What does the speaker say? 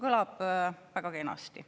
Kõlab väga kenasti.